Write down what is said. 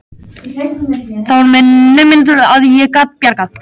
Það var með naumindum að ég gat bjargað